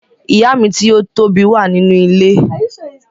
Ìyá mi ti o tobi wa nínú ilé.